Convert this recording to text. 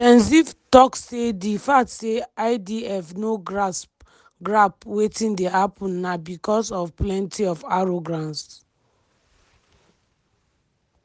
gen ziv tok say di fact say idf no grasp grasp wetin dey happun na bicos of "plenti of arrogance".